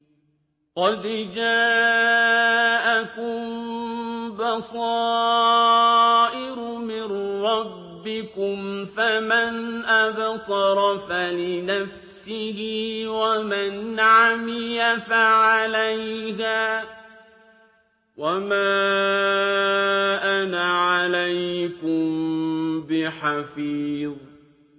قَدْ جَاءَكُم بَصَائِرُ مِن رَّبِّكُمْ ۖ فَمَنْ أَبْصَرَ فَلِنَفْسِهِ ۖ وَمَنْ عَمِيَ فَعَلَيْهَا ۚ وَمَا أَنَا عَلَيْكُم بِحَفِيظٍ